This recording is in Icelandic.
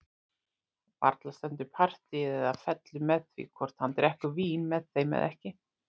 Varla stendur partíið eða fellur með því hvort hann drekkur vín með þeim eða ekki!